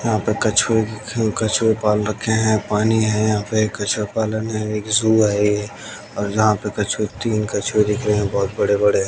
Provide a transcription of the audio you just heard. यहा पे कछुए ख कछुए पाल रखे है। पाणी है यहा पे। कछुए पालन है। एक झू है ये और यहा पे कछुए तीन कछुए दिख रहे बहोत है बडे बडे।